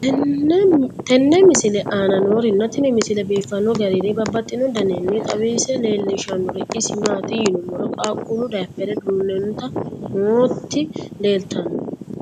tenne misile aana noorina tini misile biiffanno garinni babaxxinno daniinni xawisse leelishanori isi maati yinummoro qaaqqullu daaphere duunante nootti leelittanno